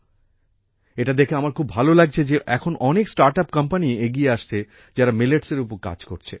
এটা দেখে আমার খুব ভালো লাগছে যে এখন অনেক স্টার্ট আপ কোম্পানি এগিয়ে আসছে যারা মিলেটস এর ওপর কাজ করছে